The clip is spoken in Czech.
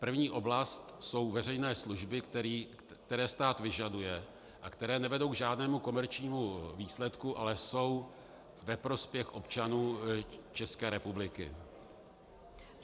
První oblast jsou veřejné služby, které stát vyžaduje a které nevedou k žádnému komerčnímu výsledku, ale jsou ve prospěch občanů České republiky.